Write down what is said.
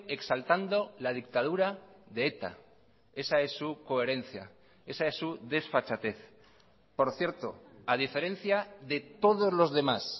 exaltando la dictadurade eta esa es su coherencia esa es su desfachatez por cierto a diferencia de todos los demás